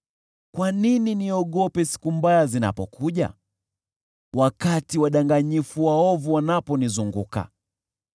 Kwa nini niogope siku mbaya zinapokuja, wakati wadanganyifu waovu wanaponizunguka,